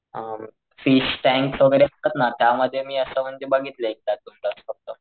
अ fish tank वैगेरे असतात ना त्या मध्ये मी असं म्हणजे बघितले एकदा दोनदा फक्त,